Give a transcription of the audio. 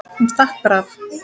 Hún stakk bara af.